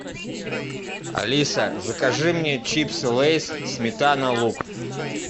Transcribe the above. алиса закажи мне чипсы лейс сметана лук